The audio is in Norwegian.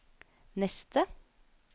neste